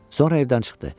Sonra evdən çıxdı.